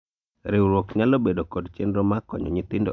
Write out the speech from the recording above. riwruok nyalo bedo kod chenro mar konyo nyithindo adier ?